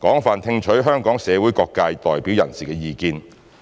廣泛聽取香港社會各界代表人士的意見。